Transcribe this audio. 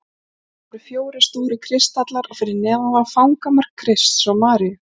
Á hornunum voru fjórir stórir kristallar og fyrir neðan þá fangamörk Krists og Maríu.